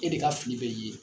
E de ka fili bɛ ye.